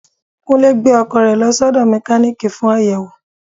Kúnlé gbẹ́ ọkọ̀ rẹ lọ sí ódo Mekaniiki fún àyẹ̀wò.